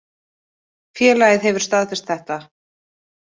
Félagið hefur staðfest þetta.